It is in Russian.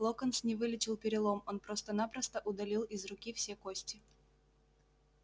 локонс не вылечил перелом он просто-напросто удалил из руки все кости